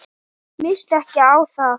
Minnstu ekki á það.